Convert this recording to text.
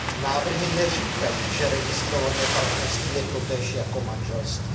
Návrhy neříkají, že registrované partnerství je totéž jako manželství.